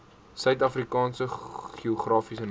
suidafrikaanse geografiese name